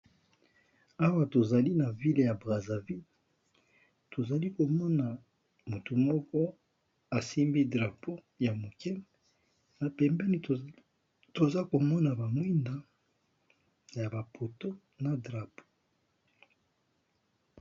Awa tozali na ville ya Brazzaville, tozali komona motu moko asimbi drapeau ya moke na pembeni toza komona ba mwinda ya ba poto na drapeau.